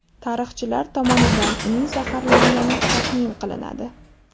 Tarixchilar tomonidan uning zaharlangani taxmin qilinadi.